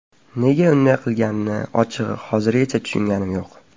Nega unday qilganini ochig‘i hozirgacha tushunganim yo‘q.